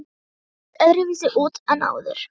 Hún leit öðruvísi út en áður.